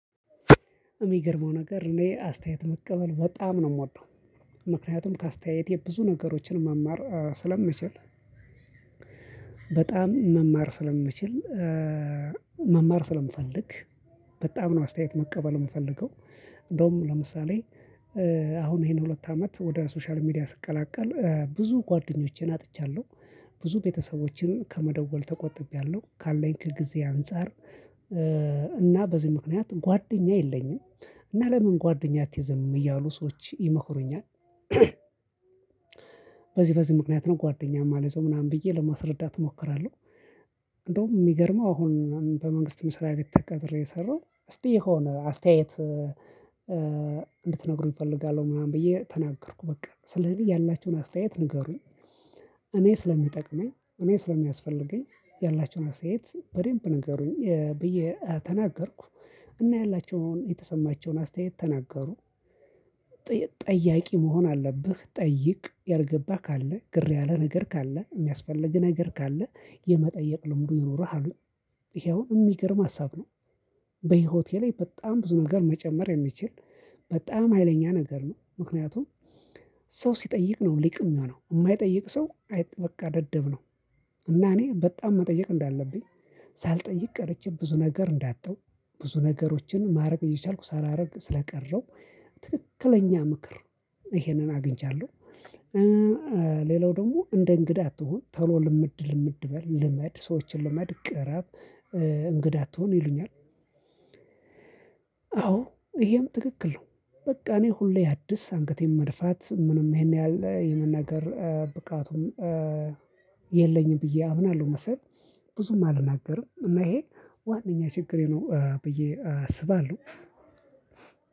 የሚገርመው ነገር እኔ አስተያየት መቀበል በጣም ነው የምወደው ምክንያቱም ከአስተያየቴ ብዙ ነገሮችን መማር ስለምችል በጣም መማር ስለምችል መማር ስለምፈልግ በጣም ነው አስተያየት መቀበል የምፈልገው እንደውም ለምሳሌ አሁን ይሄን ሁለት አመት ወደ ሶሻል ሚዲያ ስቀላቀል ብዙ ጓደኞቼን አጥቻለሁ ብዙ ቤተሰቦቼን ከመደወል ተቆጥቤያለሁ ካለኝ ከጊዜ አንፃር እና በዚህ ምክንያት ጓደኛ የለኝም። እና ለምን ጓደኛ አትይዝም እያሉ ሰዎች ይመክሩኛል በዚህ በዚህ ምክንያት ነው ጓደኛ የማልይዘው ምናምን ብዬ ለማስረዳት እሞክራለሁ። እንደውም የሚገርመው አሁን በመንግስት መስሪያቤት ተቀጥሬ እየሰራሁ እስቲ የሆነ አስተያየት እንድትነግሩኝ እፈልጋለሁ ምናምን ብዬ ተናገርኩ በቃ ስለዚህ ያላችሁን አስተያየት ነገሩኝ እኔ ስለሚጠቅመኝ እኔ ስለሚያስፈልገኝ ያላቸውን አስተያየት በደንብ ንገሩኝ ብዬ ተናገርኩ እና ያላቸውን የተሰማቸውን አስተያየት ተናገሩ። ጠያቂ መሆን አለብህ? ጠይቅ ያልገባህ ካለ፤ ግር ያለ ነገር ካለ፤ የሚያስፈልግህ ነገር ካለ፤ የመጠየቅ ልምዱ ይኖርሃል ይሄውን የሚገርም ሀሳብ ነው በህይወቴ ላይ በጣም ብዙ ነገር መጨመር የሚችል በጣም ሀይለኛ ነገር ነው ምክንያቱም ሰው ሲጠይቅ ነው ሊቅ የሚሆነው የማይጠይቅ ሰው አይ በቃ ደደብ ነው። እና እኔ በጣም መጠየቅ እንዳለብኝ ሳልጠይቅ ቀርቼ ብዙ ነገር እንዳጣው ብዙ ነገሮችን ማድረግ እየቻልኩ ሳላደርግ ስለቀረሁ ትክክለኛ ምክር ይሄንን አግኝቻለሁ። ሌላው ደግሞ እንደ እንግዳ አትሁን ቶሎ ልምድ ልምድ በል ልመድ ሰዎችን ልመድ ቅርብ እንግዳ አትሁን ይሉኛል። አዎ ይሄም ትክክል ነው በቃ እኔ ሁሌ አዲስ አንገቴን መድፋት ምንም ይሄን ያህል የመናገር ብቃቱን የለኝም ብዬ አምናለሁ መሰለኝ ብዙም አልናገርም እና ይሄ ዋናኛ ችግሬ ነው ብዬ አስባለሁ።